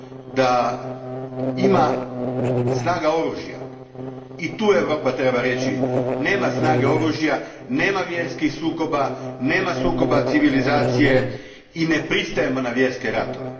da ima snage oružja i tu Europa treba reći da nema snage oružja, nema vjerskih sukoba, nema sukoba civilizacije i ne pristajemo na vjerske ratove.